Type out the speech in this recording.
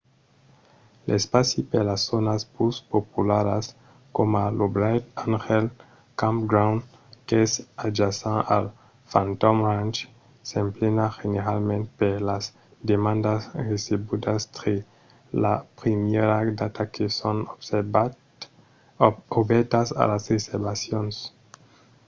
l'espaci per las zònas pus popularas coma lo bright angel campground qu'es adjacent al phantom ranch s'emplena generalament per las demandas recebudas tre la primièra data que son obèrtas a las reservacions